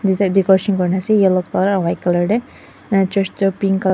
decoration kuri na ase yellow color aro white color de eneka church toh pink color --